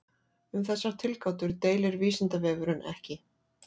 Um þessar tilgátur deilir Vísindavefurinn ekki.